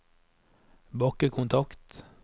bakkekontakt